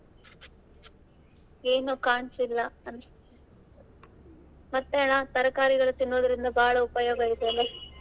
ಏನೋ ಕಾಣ್ಸಿಲ್ಲ ಮತ್ತೆ ಅಣ್ಣ ತರ್ಕಾರಿಗಳು ತಿನ್ನೋದರಿಂದ ಬಾಳ ಉಪಯೋಗ ಇದೆ ಅಲ್ಲ.